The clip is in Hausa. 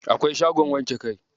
Akwai shagon wanke kai?